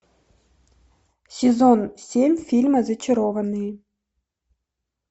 сезон семь фильма зачарованные